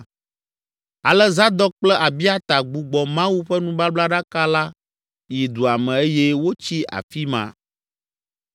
Ale Zadok kple Abiata gbugbɔ Mawu ƒe nubablaɖaka la yi dua me eye wotsi afi ma.